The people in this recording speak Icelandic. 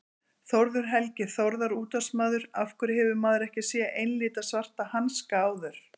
Þórður Helgi Þórðar útvarpsmaður Af hverju hefur maður ekki séð einlita svarta hanska áður?